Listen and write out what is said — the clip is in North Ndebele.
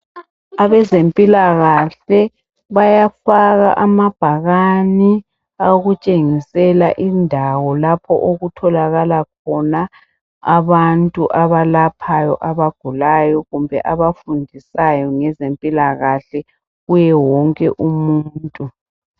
Abezempilakahle bayafaka amabhakani awokutshengisela indawo lapho okutholakala khona abantu abalaphayo abagulayo kumbe abafundisayo ngezempilakahle kuye wonke umuntu.